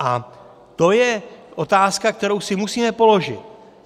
A to je otázka, kterou si musíme položit.